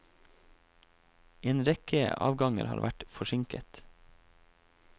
En rekke avganger har vært forsinket.